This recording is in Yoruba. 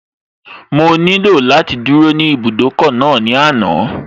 Mo nílò láti dúró ní ibùdókọ̀ náà ní àná